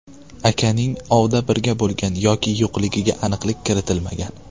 Akaning ovda birga bo‘lgan yoki yo‘qligiga aniqlik kiritilmagan.